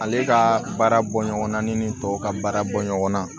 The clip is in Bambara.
Ale ka baara bɔ ɲɔgɔnna ni tɔw ka baara bɔ ɲɔgɔn na